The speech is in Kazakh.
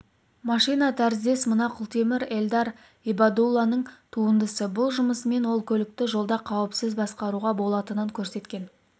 машина тәріздес мына құлтемір эльдар ибадулланың туындысы бұл жұмысымен ол көлікті жолда қауіпсіз басқаруға болатынын көрсеткен